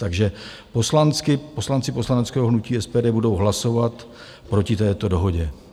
Takže poslanci poslaneckého hnutí SPD budou hlasovat proti této dohodě.